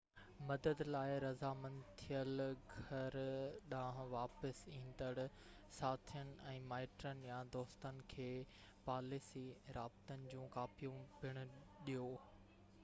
مدد لاءِ راضامند ٿيل گهر ڏانهن واپس ايندڙ ساٿين ۽ مائٽن يا دوستن کي پاليسي/رابطن جون ڪاپيون پڻ ڏيو